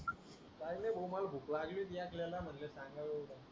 काय नाय भाऊ माला भूकलागली त्या आपपल्या म्हणले सांगावे